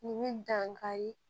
Nin bɛ dankari